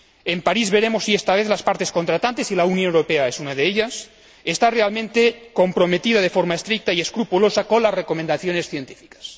En París veremos si esta vez las partes contratantes y la Unión Europea es una de ellas están realmente comprometidas, de forma estricta y escrupulosa, con las recomendaciones científicas.